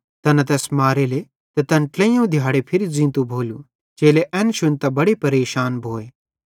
तैना तैस मारेले ते तैन ट्लेइयोवं दिहाड़े फिरी ज़ींतो भोलू चेले एन शुन्तां बड़े परेशान भोए